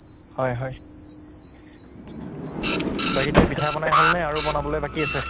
হয় হয় বাকী এতিয়া পিঠা পনা হʼলনে আৰু বনাবলে বাকী আছে?